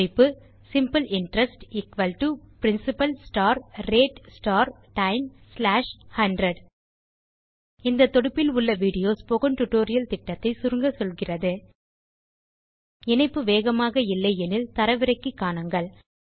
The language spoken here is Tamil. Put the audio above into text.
குறிப்பு simple interest principal rate time 100 இந்த தொடுப்பில் உள்ள வீடியோ ஸ்போக்கன் டியூட்டோரியல் திட்டத்தை சுருங்க சொல்கிறது httpspokentutorialorgWhat is a Spoken Tutorial இணைப்பு வேகமாக இல்லை எனில் தரவிறக்கி காணுங்கள்